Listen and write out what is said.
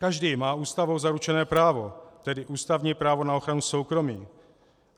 Každý má Ústavou zaručené právo, tedy ústavní právo na ochranu soukromí.